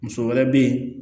Muso wɛrɛ bɛ yen